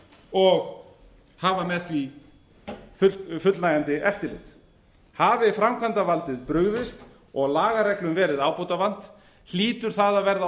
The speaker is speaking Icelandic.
og hafa með því fullnægjandi eftirlit hafi framkvæmdarvaldið brugðist og lagareglum verið ábótavant hlýtur það að verða